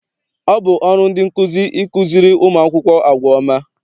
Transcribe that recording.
Ọ bụ ọrụ ndị nkụzi ịkụziri ụmụ akwụkwọ àgwà ọma.